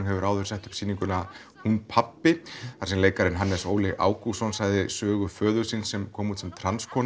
hefur áður sett upp sýninguna hún pabbi þar sem leikarinn Hannes Óli Ágústsson sagði sögu föður síns sem kom út sem